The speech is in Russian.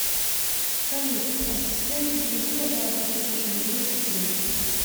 салют ассистент переведи пожалуйста тысячу рублей сестре